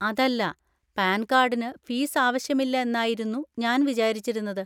അതല്ല, പാൻ കാർഡിന് ഫീസ് ആവശ്യമില്ല എന്നായിരുന്നു ഞാൻ വിചാരിച്ചിരുന്നത്.